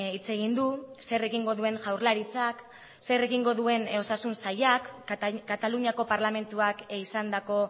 hitz egin du zer egingo duen jaurlaritzak zer egingo duen osasun sailak kataluniako parlamentuak izandako